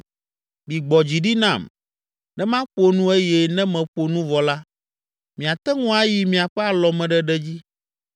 Migbɔ dzi ɖi nam, ne maƒo nu eye ne meƒo nu vɔ la, miate ŋu ayi miaƒe alɔmeɖeɖe dzi.